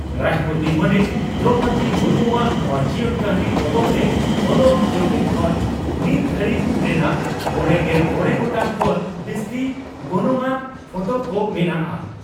ᱨᱟᱥᱴᱨᱚᱯᱳᱛᱤ ᱢᱟᱹᱱᱤᱡ ᱫᱨᱚᱣᱯᱚᱫᱤ ᱢᱩᱨᱢᱩᱣᱟᱜ ᱱᱚᱣᱟ ᱡᱤᱭᱚᱱ ᱠᱟᱹᱦᱱᱤ ᱯᱚᱛᱚᱵ ᱨᱮ ᱚᱞᱚᱜ ᱡᱚᱠᱷᱮᱱ ᱠᱷᱚᱱ ᱱᱤᱛ ᱫᱷᱟᱹᱨᱤᱡ ᱨᱮᱱᱟᱜ ᱢᱚᱲᱮᱜᱮᱞ ᱢᱚᱲᱮ ᱜᱚᱴᱟᱝ ᱠᱷᱚᱱ ᱵᱤᱥᱛᱤ ᱜᱚᱱᱚᱝᱟᱱ ᱯᱷᱚᱴᱚ ᱠᱚ ᱢᱮᱱᱟᱜᱼᱟ ᱾